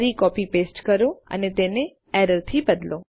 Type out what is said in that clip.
ફરી copy paste કરો અને તેને એરર થી બદલો